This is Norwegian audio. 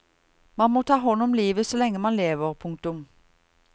Man må ta hånd om livet så lenge man lever. punktum